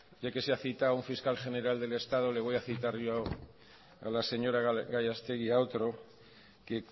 ya que se ha citado un fiscal general del estado le voy a citar yo a la señora gallastegui a otro que